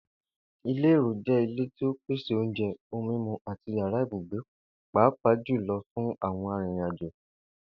Ìlè èrò jé̩ ilé tí ó pèsè oúnje̩, ohun mímu àti yàrá ibùgbé pàápàá jù lo̩ fún àwo̩n arìnrìnàjò